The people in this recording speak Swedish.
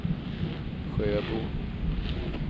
Sjöbo